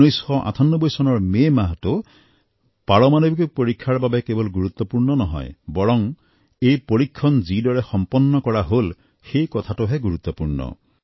১৯৯৮ চনৰ মে মাহটো পাৰমাণৱিক পৰীক্ষাৰ বাবে কেৱল গুৰুত্বপূৰ্ণ নহয় বৰং এই পৰীক্ষণ যিদৰে সম্পন্ন কৰা হল সেই কথাটোহে গুৰুত্বপূৰ্ণ